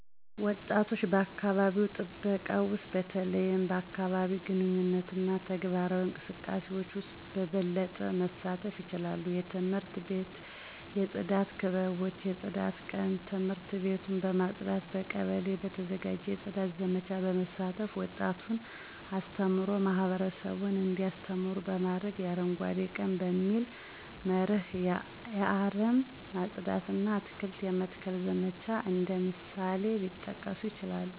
ወጣቶች በአካባቢ ጥበቃ ውስጥ በተለይም በአካባቢአዊ ግንኙነትና ተግባራዊ እንቅስቃሴዎች ውስጥ በበለጠ መሳተፍ ይችላሉ። የትምህርት ቤት የጽዳት ክበቦች የጽዳት ቀን ትምህርት ቤቱን በማጽዳት፣ በቀበሌ በተዘጋጀ የጽዳት ዘመቻዎች በመሳተፍ፣ ወጣቱን አስተምሮ ማህበረሰቡን እንዲያስተምሩ በማድረግ፣ የ አረንጓዴ ቀን በሚል መርህ የአረም ማጽዳት እና አትክልት የመትከል ዘመቻ እንደ ምሳሌዎች ሊጠቀሱ ይችላሉ።